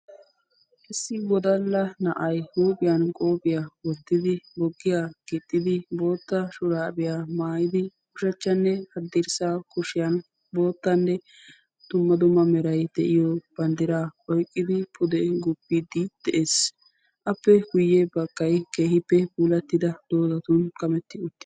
issi wodalla na7ay huuphiyan qophiyaa wottidi boggiyaa gexxidi bootta shuraabiyaa maayidi ushachchanne haddirssa kushiyan boottanne dumma dumma miray de7iyo banddiraa oyqqidi pude guppiiddi de7ees. appe guyyee baggaara keehippe puulattida doodatun kametti uttis.